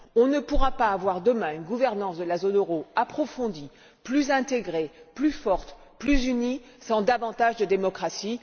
On ne pourra pas avoir demain une gouvernance de la zone euro approfondie, plus intégrée, plus forte, plus unie, sans davantage de démocratie.